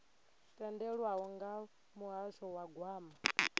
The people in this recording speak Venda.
tendelwaho nga muhasho wa gwama